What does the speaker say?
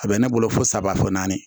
A bɛ ne bolo fo saba fɔ naani